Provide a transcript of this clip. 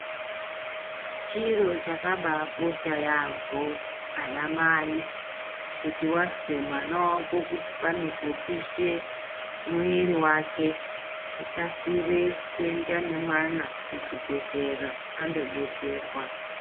Chiro chakabakosha yaamho anamai kuti wazwe kuti pane popishe mwiri wake tikasire kuenda nemwana kuchibhedhlera andodetserwa.